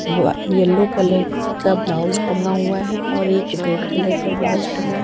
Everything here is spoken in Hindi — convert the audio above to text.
येलो कलर का ब्लाउज टंगा हुआ है और एक रेड कलर का ब्लाउज टंगा--